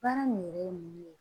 Baara nin yɛrɛ ye mun ye